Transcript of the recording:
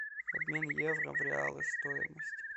обмен евро в реалы стоимость